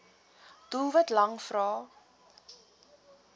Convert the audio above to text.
doelwit lang vrae